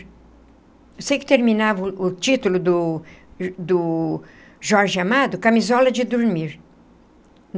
Eu sei que terminava o o título do do Jorge Amado, Camisola de Dormir.